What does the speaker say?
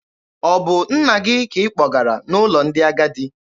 Ọ bụ nna gị ka ị kpọgara n'ụlọ ndị agadi?